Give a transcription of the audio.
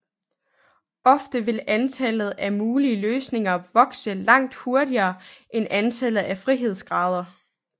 Ofte vil antallet af mulig løsninger vokse langt hurtigere end antallet af frihedsgrader